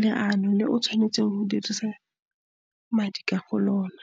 leano le o tshwanetseng go dirisa madi ka lona.